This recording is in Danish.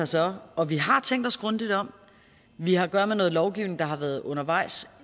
så og vi har tænkt os grundigt om vi har at gøre med noget lovgivning der har været undervejs